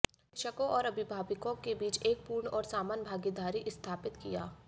शिक्षकों और अभिभावकों के बीच एक पूर्ण और समान भागीदारी स्थापित किया